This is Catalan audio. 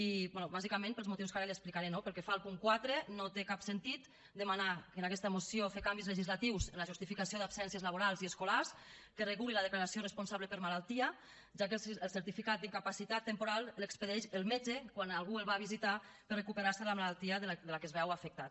bé bàsicament per als motius que ara li explicaré no pel que fa al punt quatre no té cap sentit demanar en aquesta moció fer canvis legislatius en la justificació d’absències laborals i escolars que regulin la declaració responsable per malaltia ja que el certificat d’incapacitat temporal l’expedeix el metge quan algú el va a visitar per recuperar se de la malaltia de la que es veu afectat